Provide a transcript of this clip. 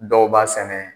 Dɔw b'a sɛnɛ